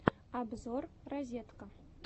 обзор розетка